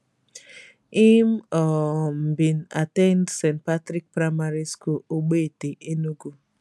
im um bin at ten d st patrick primary school ogbete enugu